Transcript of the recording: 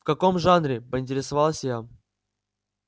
в каком жанре поинтересовалась я